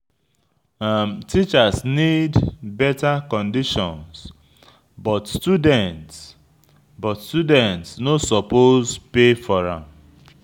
Teachers need better conditions, but students but students no suppose pay for am.